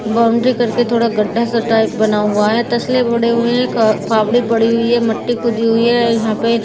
Boundary करके थोड़ा गड्ढा सा टाइप बना हुआ है तसले पड़े हुए हैं का फावड़े पड़ी हुई है मट्टी खुदी हुई है यहां पे ।